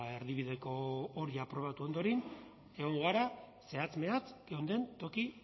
erdibideko hori aprobatu ondoren egongo gara zehatz mehatz geunden toki